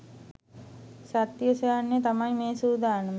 සත්‍ය සොයායන්න තමයි මේ සූඳානම